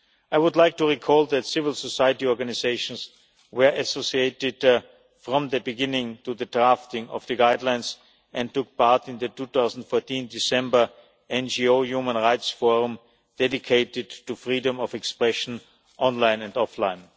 I would like to recall that civil society organisations were associated from the beginning with the drafting of the Guidelines and took part in the 2014 December NGO Human Rights Forum, dedicated to freedom of expression online and offline.